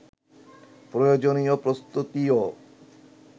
প্রয়োজনীয় প্রস্তুতিও